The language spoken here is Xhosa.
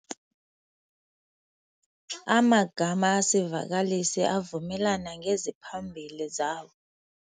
Amagama esivakalisi avumelana ngezimaphambili zawo.